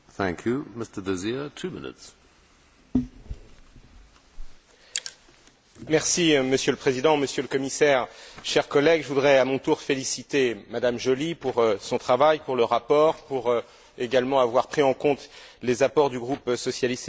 Monsieur le Président, Monsieur le Commissaire, chers collègues, je voudrais, à mon tour, féliciter M Joly pour son travail, pour le rapport, pour également avoir pris en compte les apports du groupe socialiste et démocrate et, même si nous avons de nouveau déposé des amendements, nous nous reconnaissons dans la résolution qu'elle a présentée.